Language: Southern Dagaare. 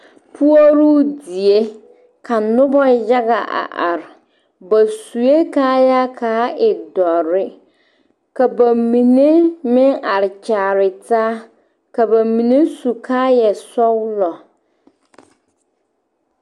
Puoruu die ka noba yaga a are ba sue kaayaa k,a e dɔre ka ba mine meŋ are kyaare taa ka ba mine su kaayasɔglɔ.